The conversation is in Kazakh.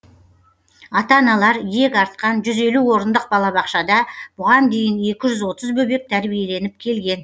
ата аналар иек артқан жүз елу орындық балабақшада бұған дейін екі жүз отыз бөбек тәрбиеленіп келген